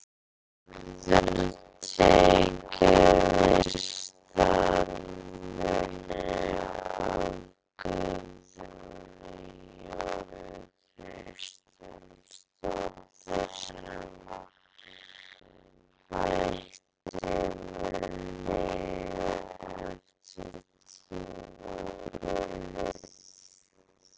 Þórður tekur við starfinu af Guðrúnu Jónu Kristjánsdóttur sem hætti með liðið eftir tímabilið.